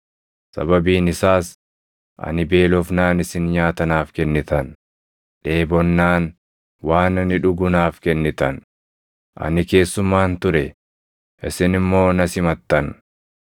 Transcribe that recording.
Sababiin isaas ani beelofnaan isin nyaata naaf kennitan; dheebonnaan waan ani dhugu naaf kennitan; ani keessummaan ture; isin immoo na simattan;